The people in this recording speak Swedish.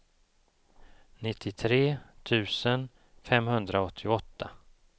nittiotre tusen femhundraåttioåtta